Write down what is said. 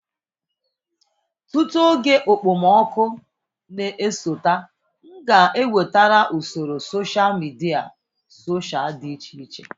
Tutu oge okpomọkụ na-esote, m ga-enwetala usoro sosha midia sosha dị iche iche.